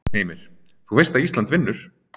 Heimir: Þú veist að Ísland vinnur?